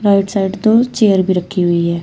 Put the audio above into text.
Right side दो chair भी रखी हुई है।